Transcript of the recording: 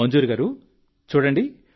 మంజూర్ గారూ చూడండి